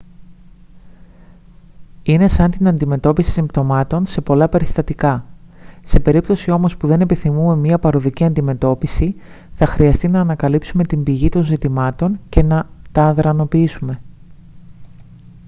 είναι σαν την αντιμετώπιση συμπτωμάτων σε πολλά περιστατικά σε περίπτωση όμως που δεν επιθυμούμε μια παροδική αντιμετώπιση θα χρειαστεί να ανακαλύψουμε την πηγή των ζητημάτων και να τα αδρανοποιήσουμε